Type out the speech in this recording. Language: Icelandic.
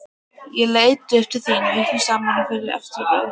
Ég leit upp til þín vikum saman fyrir þetta ostabrauð.